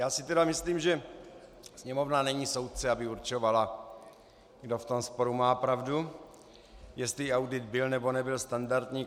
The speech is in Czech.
Já si tedy myslím, že Sněmovna není soudce, aby určovala, kdo v tom sporu má pravdu, jestli audit byl, nebo nebyl standardní.